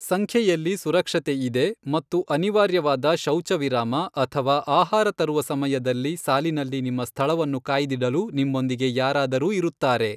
ಸಂಖ್ಯೆಯಲ್ಲಿ ಸುರಕ್ಷತೆ ಇದೆ ಮತ್ತು ಅನಿವಾರ್ಯವಾದ ಶೌಚ ವಿರಾಮ ಅಥವಾ ಆಹಾರ ತರುವ ಸಮಯದಲ್ಲಿ ಸಾಲಿನಲ್ಲಿ ನಿಮ್ಮ ಸ್ಥಳವನ್ನು ಕಾಯ್ದಿಡಲು ನಿಮ್ಮೊಂದಿಗೆ ಯಾರಾದರೂ ಇರುತ್ತಾರೆ.